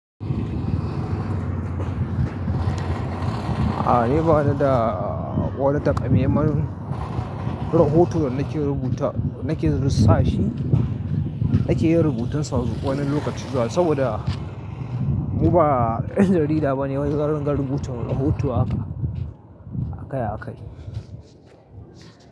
A'a, ni bana da wani takameman rahoto da nake rubutawa nake research. Nake yin rubutun sa wani lokaci zuwa saboda mu ba jarida bane wani zan ringa rubuta rahoto haka akai a kai.